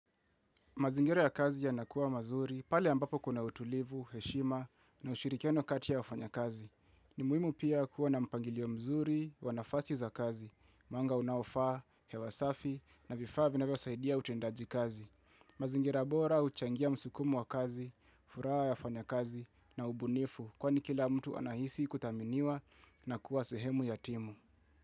Mazingira ya kazi ya nakuwa mazuri, pale ambapo kuna utulivu, heshima na ushirikiano kati ya wafanyakazi. Ni muhimu pia kuwa na mpangilio mzuri, wanafasi za kazi, mwanga unaofaa, hewa safi na vifaa vinavyosaidia utendaji kazi. Mazingero bora huchangia msukumo wa kazi, furaha ya wafanya kazi na ubunifu kwa ni kila mtu anahisi kutaminiwa na kuwa sehemu ya timu.